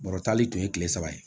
Bɔrɔtali tun ye kile saba ye